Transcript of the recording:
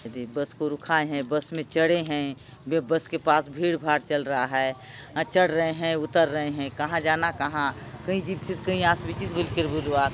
येदे बस को रुकाये है बस में चढ़े हैवे बस के पास भीड़ भाड़ चल रहा है चढ़ रहे है उतर रहे है कहाँ जाना कहाँ कई जीबीचिस कई आस बिचिस बलि करि बलुआत ।